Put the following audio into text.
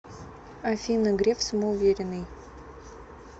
афина греф самоуверенный